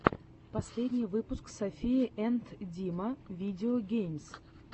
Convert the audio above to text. последний выпуск софия энд дима видео геймс